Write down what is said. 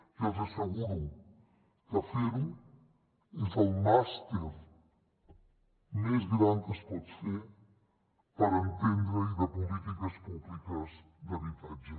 i els asseguro que fer ho és el màster més gran que es pot fer per entendre hi de polítiques públiques d’habitatge